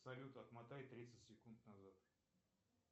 салют отмотай тридцать секунд назад